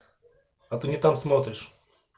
а ты не там смотришь